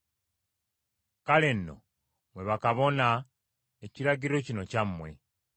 “Kale nno, mmwe bakabona, ekiragiro kino kyammwe.